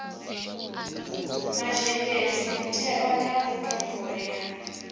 mazhendedzi mutheo wa vhutumbuli ha